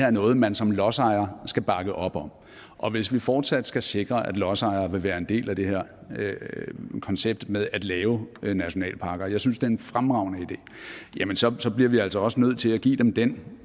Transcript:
er noget man som lodsejer skal bakke op om og hvis vi fortsat skal sikre at lodsejere vil være en del af det her koncept med at lave nationalparker og det synes en fremragende idé jamen så så bliver vi altså også nødt til at give dem den